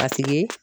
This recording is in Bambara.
A tigi